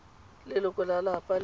leloko la lelapa le le